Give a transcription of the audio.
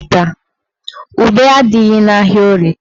Ube adịghị n'ahịa Orie taa.